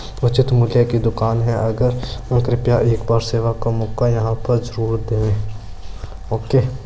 उच्चित मूल्य की दुकान है कृपया एक बार सेवा का मौका यहाँ पर जरूर देवें ओके ।